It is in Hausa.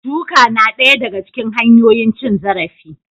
Duka na daya daga cikin hanyoyin cin zarafi